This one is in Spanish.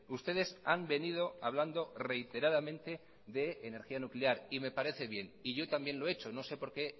ustedes han venido hablando reiteradamente de energía nuclear y me parece bien y yo también lo he hecho no sé por qué